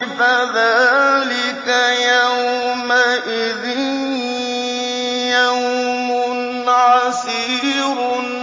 فَذَٰلِكَ يَوْمَئِذٍ يَوْمٌ عَسِيرٌ